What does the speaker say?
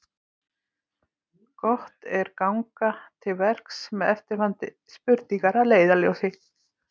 Gott er ganga til verks með eftirfarandi spurningar að leiðarljósi: